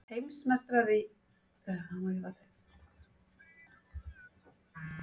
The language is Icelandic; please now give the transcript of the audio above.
Heimsmeistarar í jafnrétti En hverju erum við góð í?